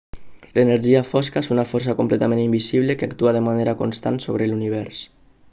l'energia fosca és una força completament invisible que actua de manera constant sobre l'univers